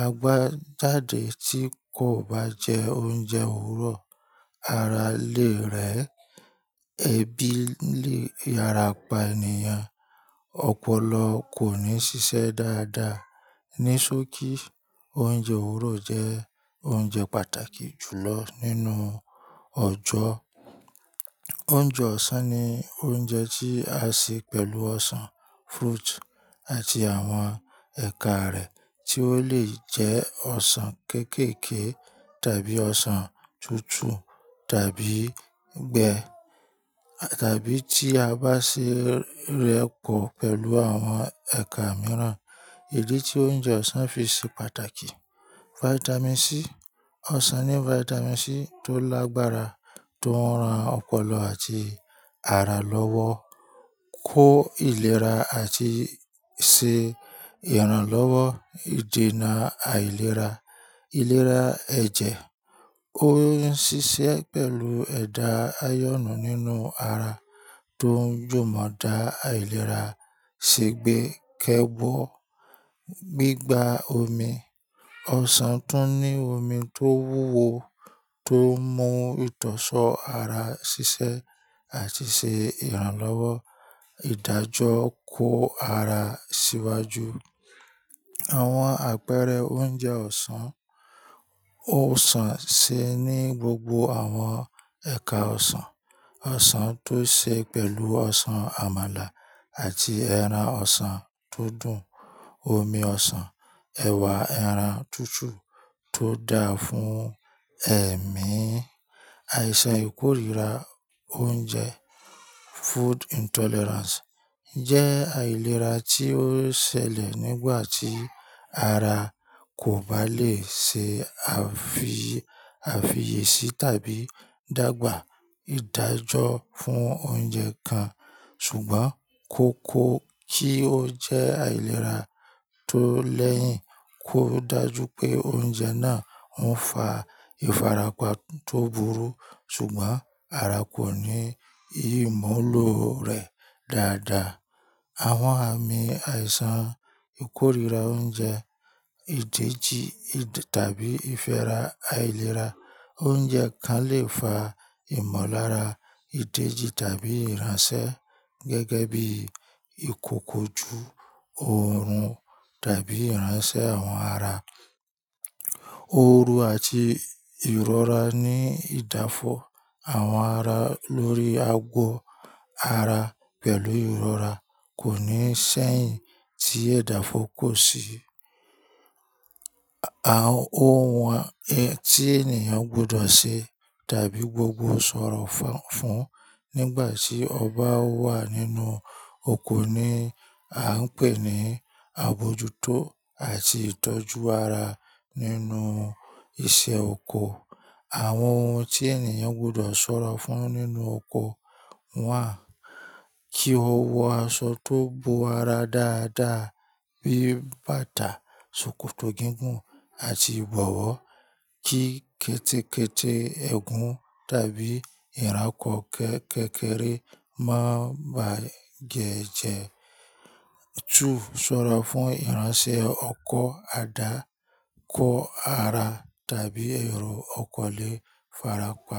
A gbá jáde tí kò bá jẹ oúnjẹ òwúrọ̀, ara lè rẹ, ẹbí lè yara pa ènìyàn, ọpọlọ kò ní ṣiṣẹ́ dáadáa, ní ṣókí oúnjẹ òwúrọ̀ jẹ oúnjẹ pàtàkì jùlọ nínú ọjọ́. Oúnjẹ ọ̀sán ni oúnjẹ tí a ṣe pẹ̀lú ọsàn, fruit àti àwọn ẹ̀ka rẹ̀ tí ó lè jẹ ọsàn kéékèèké tàbí ọsàn tútù tàbí gbẹ tàbí tí a bá ṣe rẹ̀ pọ pẹ̀lú àwọn ẹ̀ka mìíràn. Ìdí tí oúnjẹ ọ̀sán fi ṣe pàtàkì: Vitamin C, ọsàn ní Vitamin C tó lágbára tó ń ran ọpọlọ àti ara lọ́wọ́, kó ìlera àti ṣe ìrànlọ́wọ́ ìdènà àìlera, ìlera ẹ̀jẹ̀. Ó ń ṣiṣẹ́ pẹ̀lú ẹ̀dà ayọ̀nú nínú ara tó ń jùmọ̀ dá àìlera ṣẹgbẹ́kẹ́wọ́. Gbigba omi, ọsàn tún ní omi tó wúwo tó ń mú ìtọ́sọ̀ọ́ ara ṣiṣẹ́ àti ṣe ìrànlọ́wọ́ ìdájọ́ kó ara síwájú. Àwọn àpẹẹrẹ oúnjẹ ọ̀sán: Oúnjẹ ọ̀sán ṣe ní gbogbo àwọn ẹ̀ka ọsàn. Ọsàn tó ṣe pẹ̀lú ọsàn àmàlà àti ẹran ọsàn tó dùn, omi ọsàn, ẹ̀wà ẹran tútù tó dáa fún ẹ̀mí. Àìsàn ìkórìíra oúnjẹ jẹ́ àìlera tí ó ṣẹlẹ̀ nígbà tí ara kò bá lè ṣe àfiyèsí tàbí dàgbà ìdájọ́ fún oúnjẹ kan ṣùgbọ́n kó kó kí ó jẹ́ àìlera tó lẹ́yìn kó dájú pé oúnjẹ náà ń fa ìfarapa tó burú ṣùgbọ́n ara kò ní ìmúlò rẹ̀ dáadáa. Àwọn àmì àìsàn ìkórìíra oúnjẹ, ìdèèjì tàbí ìfẹ́ra àìlera oúnjẹ kan lè fa ìmọ̀lára ìdèèjì tàbí ìránṣẹ́ gẹ́gẹ́ bí ìkòkò ju òórùn tàbí ìránṣẹ́ àwọn ara. Ooru àti ìrora ní ìdáfọ̀ àwọn ara lórí agbọ̀ ara pẹ̀lú ìrora kò ní sẹ́yìn tí edáfọ́ kò sí. Àwọn ohun tí ènìyàn gbudọ̀ ṣe tàbí gbogbo sọ̀rọ̀ fún nígbà tí ọ ba wà nínú oko ni a ń pè ní àbojútó àti ìtọ́jú ara nínú iṣẹ́ oko. Àwọn ohun tí ènìyàn gbọdọ̀ sọ̀rọa fún nínú oko, one, kí ó wọ aṣọ tó bo ara dáadáa bí bàtà, ṣòkòtò gígùn àti ìbọ̀wọ́. Kí kẹ́tẹ́kẹ́tẹ́ ègún tàbí ìranko kékèèkére má bá ge ẹ́ jẹ́. Tún sọ̀ra fún ìránṣẹ́ ọkọ̀, àdá, kó ara tàbí ẹ̀rọ ọkọ̀ lè farapa.